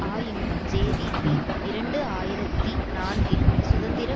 ஆயினும் ஜேவிபி இரண்டு ஆயிரத்தி நான்கில் சுதந்திர